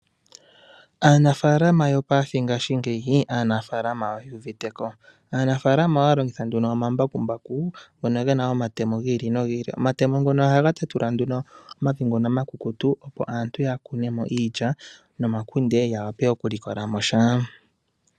Aanafalama yopaife ngeyi, aanafalama ye uviteko. Aanafalama ohaya longitha nduno omambakumbaku ngono gena omatemo gi ili nogi ili. Omatemo ngono ohaga tatula nduno omati ngono omakukutu opo aantu ya kune mo iilya nomakunde. Ya wape okulikola mo sha.